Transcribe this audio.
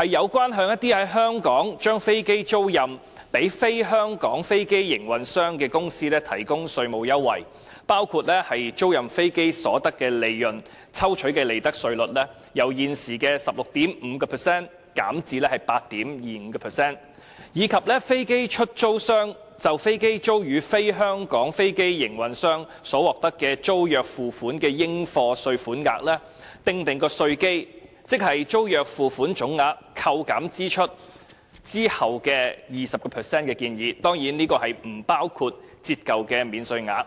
旨在向一些在香港將飛機租賃予"非香港飛機營運商"的公司提供稅務優惠，包括建議將租賃飛機所得的利潤抽取的利得稅稅率，由現時的 16.5% 減至 8.25%； 以及為飛機出租商就飛機租予"非香港飛機營運商"所獲得的租約付款的應課稅款額，訂定稅基為租約付款總額扣減支出後的 20%， 當然，這不包括折舊的免稅額。